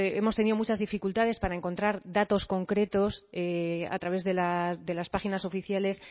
hemos tenido muchas dificultades para encontrar datos concretos a través de las páginas oficiales